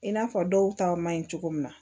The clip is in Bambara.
I n'a fɔ dɔw ta man ɲi cogo min na